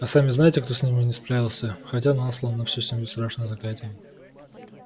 а сами знаете кто с ним не справился хотя наслал на всю семью страшное заклятие